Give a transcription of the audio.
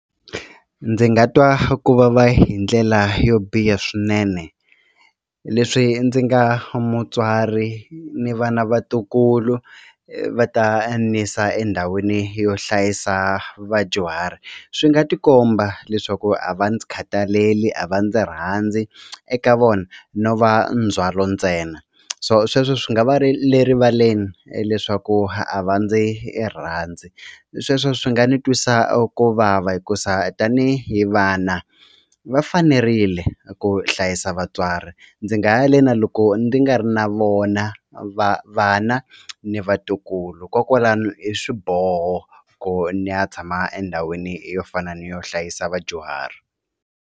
Ndzi nga twa ku vava hi ndlela yo biha swinene leswi ndzi nga mutswari ni va na vatukulu va ta ni yisa endhawini yo hlayisa vadyuhari swi nga tikomba leswaku a va ndzi khataleli a va ndzi rhandzi eka vona no va ndzhwalo ntsena so sweswo swi nga va ri le rivaleni leswaku a va ndzi rhandzi sweswo swi nga ni twisa a ku vava hikusa tanihi vana va fanerile ku hlayisa vatswari ndzi nga ya le na loko ndzi nga ri na vona vana ni vatukulu kokwalano i swiboho ku ni ya tshama endhawini yo fana ni yo hlayisa vadyuhari.